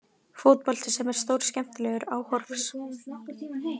Fótbolti sem er stórskemmtilegur áhorfs.